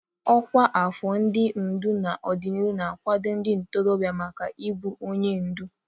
Ọkwa afọ ndị ndu n'ọdịnihu na-akwado ndị ntorobịa maka ịbụ onye ndu.